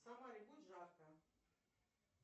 в самаре будет жарко